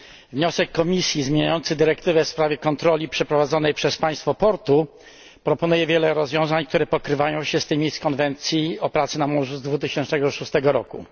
Wniosek Komisji zmieniający dyrektywę w sprawie kontroli przeprowadzanej przez państwo portu proponuje wiele rozwiązań, które pokrywają się z tymi z konwencji o pracy na morzu z 2006 roku.